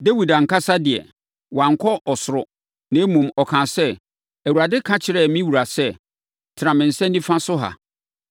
Dawid ankasa de, wankɔ ɔsoro, na mmom, ɔkaa sɛ, “ ‘Awurade ka kyerɛɛ me wura sɛ, “Tena me nsa nifa so ha,